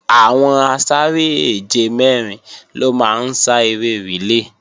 Àwọn asáré-èje mẹ́rin ló máa ń sá eré rìlé